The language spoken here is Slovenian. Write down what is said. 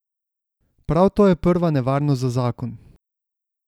Prav to je prva nevarnost za zakon.